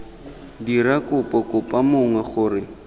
dira kopo kopa mongwe gore